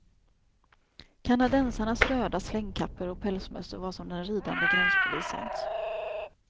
Kanadensarnas röda slängkappor och pälsmössor var som den ridande gränspolisens.